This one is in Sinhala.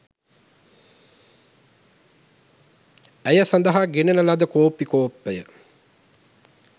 ඇය සඳහා ගෙනෙන ලද කෝපි කෝප්පය